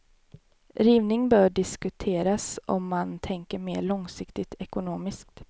Rivning bör diskuteras om man tänker mer långsiktigt ekonomiskt.